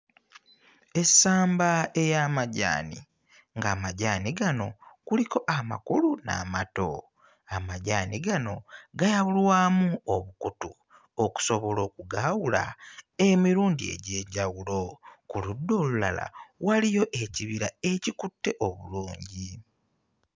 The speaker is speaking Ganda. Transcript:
Essamba ey'amajaani nga amajaani gano kuliko amakulu n'amato. Amajaani gano gayawulwamu obukutu okusobola okugaawula emirundi egy'enjawulo. Ku ludda olulala waliyo ekibira ekikutte obulungi.